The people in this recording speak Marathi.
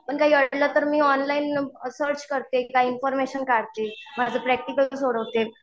पण काही अडलं तर मी ऑनलाईन सर्च करते काही इन्फॉर्मेशन काढते. माझे प्रॅक्टिकल सोडवते.